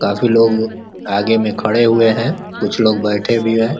काफ़ी लोग आगे में खड़े हुए हैं। कुछ लोग बैठे भी हैं।